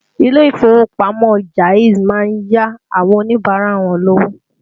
Ilé ìfowópamọ́ Jaiz má ń yá àwọn Oníbàárà wọn lówó